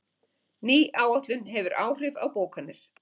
Ný áætlun hefur áhrif á bókanir